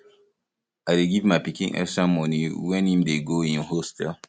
i dey give my pikin extra moni wen im dey go im hostel